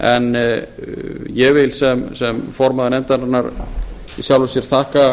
en ég vil sem formaður nefndarinnar í sjálfu sér þakka